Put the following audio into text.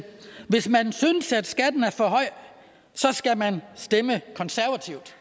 hvis man synes at skatten er for høj så skal man stemme konservativt